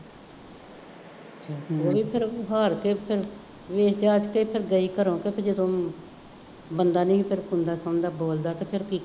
ਉਹ ਵੀ ਫੇਰ ਹਾਰ ਕੇ ਫੇਰ ਵੇਖ ਜਾਚ ਕੇ ਫੇਰ ਗਈ ਘਰੋ ਕੁੱਛ ਜਦੋਂ ਬੰਦਾ ਨਹੀਂ ਸੀ ਬੋਲਦਾ ਅਤੇ ਫੇਰ ਕੀ ਕਰ